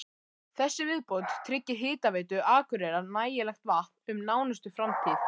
Þessi viðbót tryggir Hitaveitu Akureyrar nægilegt vatn um nánustu framtíð.